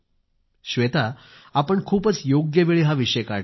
श्वेता आपण खूपच योग्यवेळी हा विषय काढला आहे